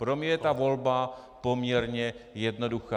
Pro mě je ta volba poměrně jednoduchá.